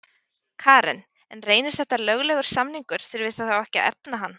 Karen: En reynist þetta löglegur samningur, þurfið þið þá ekki að efna hann?